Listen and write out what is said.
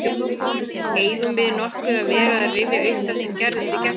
Eigum við nokkuð að vera að rifja upp það sem gerðist í gærkvöldi?